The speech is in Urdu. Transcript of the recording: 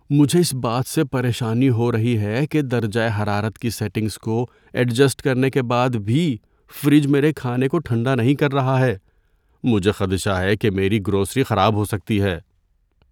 مجھے اس بات سے پریشانی ہو رہی ہے کہ درجۂ حرارت کی سیٹنگز کو ایڈجسٹ کرنے کے بعد بھی فریج میرے کھانے کو ٹھنڈا نہیں رکھ رہا ہے۔ مجھے خدشہ ہے کہ میری گروسری خراب ہو سکتی ہے۔